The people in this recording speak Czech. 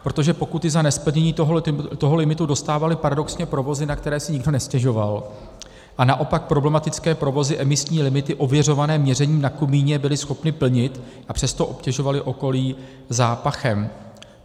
Protože pokuty za nesplnění toho limitu dostávaly paradoxně provozy, na které si nikdo nestěžoval, a naopak problematické provozy emisní limity ověřované měřením na komíně byly schopny plnit, a přesto obtěžovaly okolí zápachem.